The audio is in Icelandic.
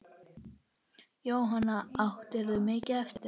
Jóhanna: Áttirðu mikið eftir?